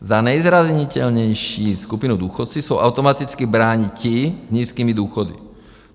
Za nejzranitelnější skupinu důchodců jsou automaticky brání ti s nízkými důchody.